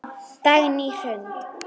Dagný Hrund.